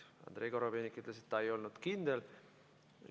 Andrei Korobeinik ütles, et ta ei olnud kindel.